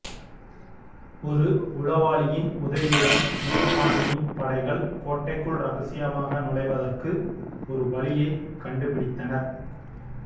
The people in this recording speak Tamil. ஒரு உளவாளியின் உதவியுடன் முல்தானியின் படைகள் கோட்டைக்குள் ரகசியமாக நுழைவதற்கு ஒரு வழியைக் கண்டுபிடித்தனர்